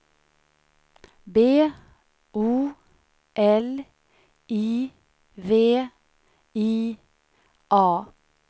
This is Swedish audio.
B O L I V I A